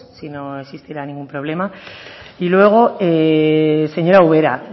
si no existiera ningún problema y luego señora ubera